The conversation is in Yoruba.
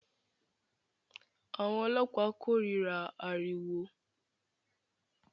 Àwọn ọlọ́pàá kórìíra ariwo